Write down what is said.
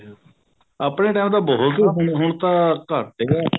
ਆਪਣੇ time ਚ ਬਹੁਤ ਹੁਣ ਤਾਂ ਘੱਟ ਗਏ ਨੇ